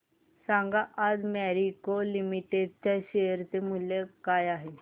सांगा आज मॅरिको लिमिटेड च्या शेअर चे मूल्य काय आहे